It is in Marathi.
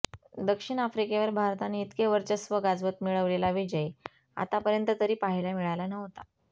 दक्षिण आफ्रिकेवर भारताने इतके वर्चस्व गाजवत मिळवलेला विजय आतापर्यंत तरी पाहायला मिळाला नव्हता